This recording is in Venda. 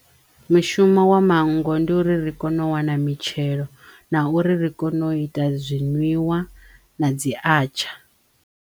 Mishumo wa manngo ndi uri ri kono u wana mitshelo na uri ri kono u ita zwinwiwa na dzi atsha.